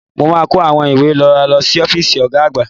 Mo máa kó àwọn ìwé wa lọ sí ọ́fíìsì Ọ̀ga àgbà